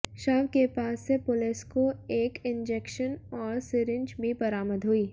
शव के पास से पुलिस को एक इंजेक्शन और सिरिंज भी बरामद हुई